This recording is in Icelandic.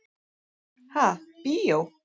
Ha, bíó?